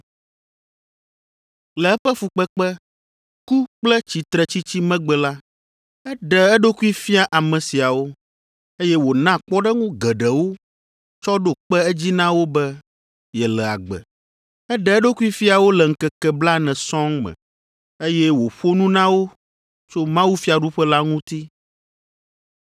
Le eƒe fukpekpe, ku kple tsitretsitsi megbe la, eɖe eɖokui fia ame siawo, eye wòna kpɔɖeŋu geɖewo tsɔ ɖo kpe edzi na wo be yele agbe. Eɖe eɖokui fia wo le ŋkeke blaene sɔŋ me, eye wòƒo nu na wo tso mawufiaɖuƒe la ŋuti.